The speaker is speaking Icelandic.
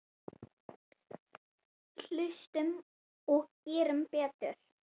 Hlustum og gerum betur.